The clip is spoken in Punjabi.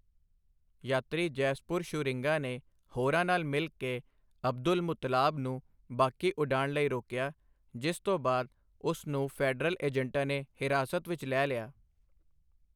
ਯਾਤਰੀ ਜੈਸਪਰ ਸ਼ੂਰਿੰਗਾ ਨੇ ਹੋਰਾਂ ਨਾਲ ਮਿਲ ਕੇ ਅਬਦੁਲਮੁਤੱਲਾਬ ਨੂੰ ਬਾਕੀ ਉਡਾਣ ਲਈ ਰੋਕਿਆ, ਜਿਸ ਤੋਂ ਬਾਅਦ ਉਸ ਨੂੰ ਫੈਡਰਲ ਏਜੰਟਾਂ ਨੇ ਹਿਰਾਸਤ ਵਿੱਚ ਲੈ ਲਿਆ।